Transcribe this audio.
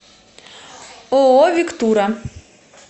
ооо вектура